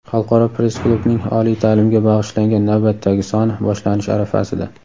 Xalqaro press-klubning oliy taʼlimga bag‘ishlangan navbatdagi soni boshlanish arafasida.